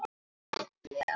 Slepp ég?